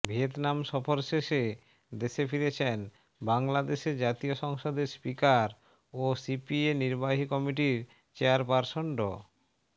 Vietnam সফর শেষে দেশে ফিরেছেন বাংলাদশে জাতীয় সংসদের স্পিকার ও সিপিএ নির্বাহী কমিটির চেয়ারপারসন ড